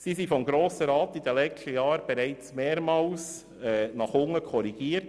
Sie wurden vom Grossen Rat während der letzten Jahren bereits mehrmals nach unten korrigiert.